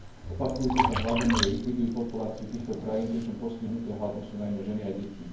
Opakujúce sa hladomory likvidujú populáciu týchto krajín, pričom postihnuté hladom sú najmä ženy a deti.